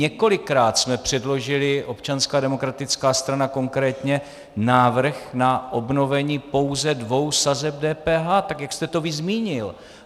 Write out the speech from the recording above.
Několikrát jsme předložili, Občanská demokratická strana konkrétně, návrh na obnovení pouze dvou sazeb DPH, tak jak jste to vy zmínil.